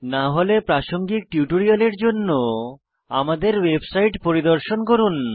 না হলে প্রাসঙ্গিক টিউটোরিয়ালের জন্য আমাদের ওয়েবসাইট পরিদর্শন করুন